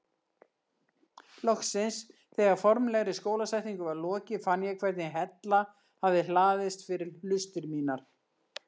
Loksins þegar formlegri skólasetningu var lokið fann ég hvernig hella hafði hlaðist fyrir hlustir mínar.